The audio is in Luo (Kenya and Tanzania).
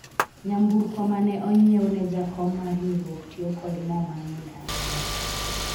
nyamburko mane onyiewu ne jakom mar riwruok tiyo kod moo mang'eny ahinya